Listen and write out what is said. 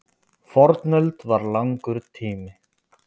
Fornöld var langur tími.